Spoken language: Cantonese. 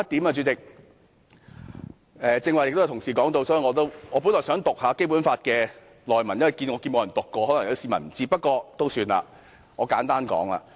主席，最後一點，剛才也有同事提及，我本來想引述《基本法》的內文，因為沒有議員引述，可能有些市民不知道，不過算了，我簡單說。